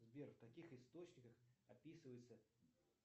сбер в каких источниках описывается